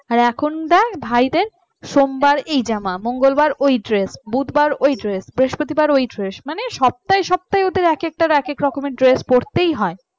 আর এখন দেখ ভাইদের সোমবার ওই জামা মঙ্গলবার ওই dress বুধবার ওই dress বৃহস্পতিবার ওই dress মানে সপ্তাহে সপ্তাহে ওদের এক একটা একা এক রকমের dress পড়তেই হয়